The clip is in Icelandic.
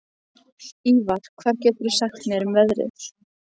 Ívar, hvað geturðu sagt mér um veðrið?